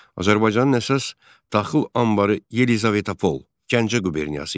Azərbaycanın əsas taxıl anbarı Yelizavetapol, Gəncə quberniyası idi.